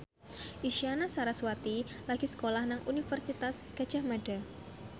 Isyana Sarasvati lagi sekolah nang Universitas Gadjah Mada